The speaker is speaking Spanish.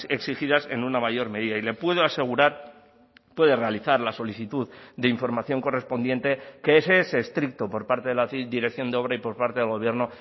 exigidas en una mayor medida y le puedo asegurar puede realizar la solicitud de información correspondiente que ese es estricto por parte de la dirección de obra y por parte del gobierno